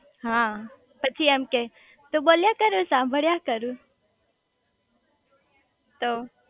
હા પછી એમ કે તું બોલ્યા કર હું સાંભળ્યા કરું તો